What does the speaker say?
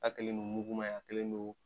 A kelen don muguma ye a kelen don